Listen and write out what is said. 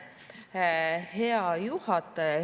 Hea juhataja!